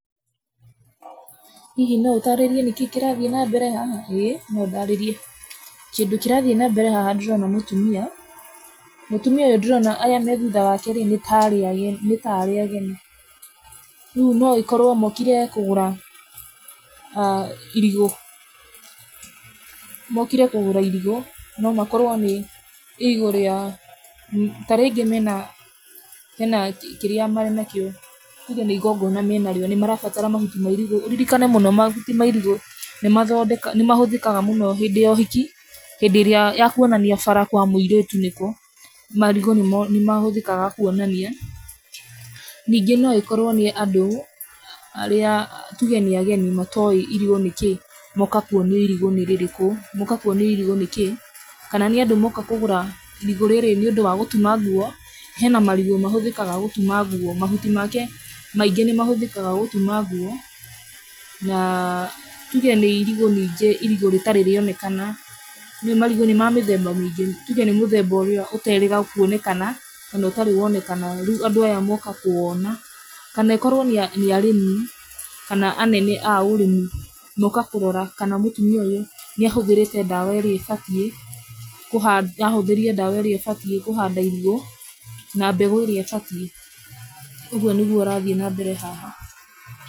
Hihi no ũtaarĩrie nĩkĩĩ kĩrathiĩ na mbere haha? Ĩĩ no ndarĩrie. Kĩndũ kĩrathiĩ na mbere haha ndĩrona mũtumia, mũtumia ndĩrona aya me thutha wake rĩ, nĩ ta arĩ ageni, rĩu no ĩkorũo mokire kũgũra irigu, mokire kũgũra irigu no makorwo nĩ irigũ ria, ta arĩa aingĩ mena, hena kĩrĩa mena kĩo, tuuge nĩ igongona menarĩo nĩ marabatara mahuti ma irigũ, ũririkane mũno mahuti ma ĩrigũ nĩ mathondekaga, nĩ mahũthikaga mũno hĩndĩ ya ũhiki, hĩndĩ ĩrĩa ya kuonania bara kwa mũirĩtu nĩ kũ. Marigũ nĩ mahũthĩkaga kuonania, nyingĩ no ĩkorwo nĩ andũ arĩa tũge nĩ ageni matoĩ irigũ nĩ kĩ moka kuonio irigũ nĩ rĩrĩkũ moka kuonio irigũ nĩ kĩ kana nĩ andũ moka kũgũra irigũ rĩrĩ nĩ ũndũ wa gũtuma nguo. Hena marigũ mahũthĩkaga gũtuma nguo mahuti make maingĩ nĩ mahũthĩkaga gũtuma nguo na tũge nĩ irigũ nyingi irigũ rĩtarĩ rĩonekana nĩũĩ marigũ nĩ ma mĩthemba mĩingĩ tũge nĩ mũthemba ũria ũterĩga kuonekana kana ũtarĩ wonekana rĩu andũ aya moka kũwona kana ĩkorwo nĩ arĩmi kana anene a ũrĩmi moka kũrora kana mutumia uyu nĩahũthĩrĩte dawa ĩrĩa ĩbatie, nĩahũthĩrĩte dawa ĩrĩa ĩbatie kũhanda irigũ na mbegũ ĩrĩa ĩbatie. Ũguo nĩgwo ĩrathiĩ na mbere haha.